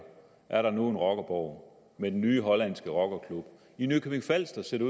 er der nu en rockerborg med den nye hollandske rockerklub i nykøbing falster ser det